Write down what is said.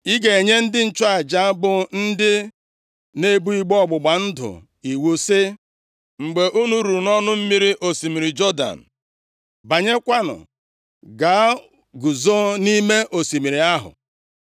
Ị ga-enye ndị nchụaja bụ ndị na-ebu igbe ọgbụgba ndụ iwu si, ‘Mgbe unu ruru nʼọnụ mmiri osimiri Jọdan, banyekwanụ gaa guzo nʼime osimiri ahụ.’ ”